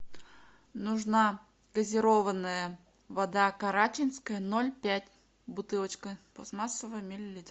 нужна газированная вода карачинская ноль пять бутылочка пластмассовая миллилитров